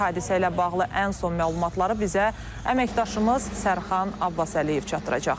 Hadisə ilə bağlı ən son məlumatları bizə əməkdaşımız Sərxan Abbasəliyev çatdıracaq.